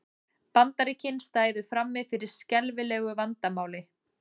Bandaríkin stæðu frammi fyrir skelfilegu vandamáli